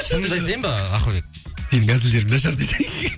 шынымды айтайын ба ақылбек сенің әзілдерің нашар десей